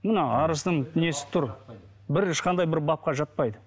мына арыздың несі тұр бір ешқандай бір бапқа жатпайды